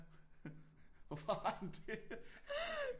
Hvorfor har han det